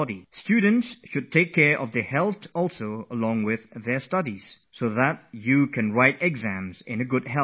Students should care for their health along with their studies so that they are able to write their exams well, in good health and spirit